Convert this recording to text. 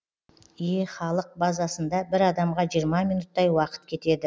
е халық базасында бір адамға жиырма минуттай уақыт кетеді